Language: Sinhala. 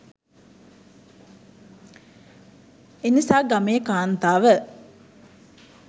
එනිසා ගමේ කාන්තාව